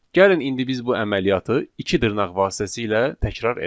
Gəlin indi biz bu əməliyyatı iki dırnaq vasitəsilə təkrar edək.